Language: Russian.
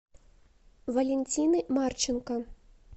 валентины марченко